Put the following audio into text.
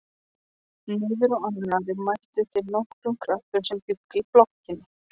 Niðrá annarri mættu þeir nokkrum krökkum sem bjuggu í blokkinni.